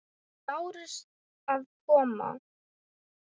Lárusi að koma.